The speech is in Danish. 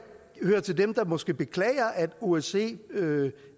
hører til dem der måske beklager at osce